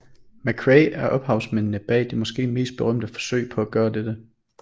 McCrae er ophavsmændene bag det måske mest berømte forsøg på at gøre dette